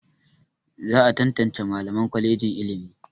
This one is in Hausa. Za a tantance Mallaman kwalejin ilimi.